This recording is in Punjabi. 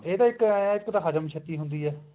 ਇਹਦਾ ਇੱਕ ਏ ਹੈ ਇਹ ਹਜਮ ਜਲਦੀ ਹੁੰਦੀ ਹੈ